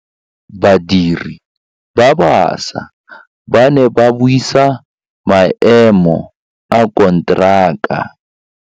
Badiri ba baša ba ne ba buisa maêmô a konteraka.